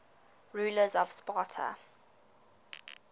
rulers of sparta